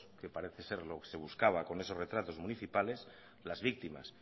que parece ser lo que se buscaba con esos retratos municipales las víctimas